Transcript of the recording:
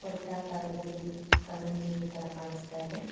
ವ್ರತ್ತಕಾರದಲ್ಲಿ ಕಾರಂಜಿ ತರ ಕಾಣಸ್ತಾ ಇದೆ.